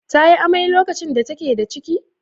Ta yi amai lokacin da take da ciki?